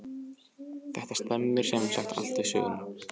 Þetta stemmir sem sagt allt við söguna.